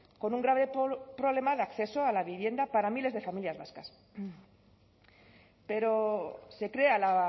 con un grave problema de acceso a la vivienda para miles de familias vascas pero se crea la